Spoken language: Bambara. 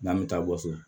N'an bɛ taa gawo